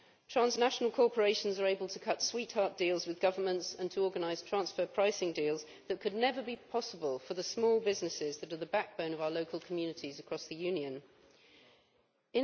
Transnational corporations are able to cut sweetheart deals with governments and to organise transfer pricing deals that could never be possible for the small businesses that are the backbone of our local communities across the European Union.